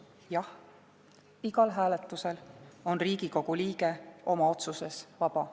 Jah, igal hääletusel on Riigikogu liige oma otsuses vaba.